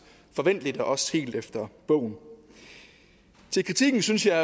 forventeligt og også helt efter bogen til kritikken synes jeg